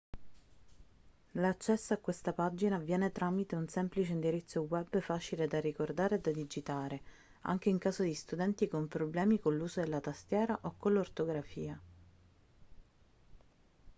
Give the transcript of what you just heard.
l'accesso a questa pagina avviene tramite un semplice indirizzo web facile da ricordare e da digitare anche in caso di studenti con problemi con l'uso della tastiera o con l'ortografia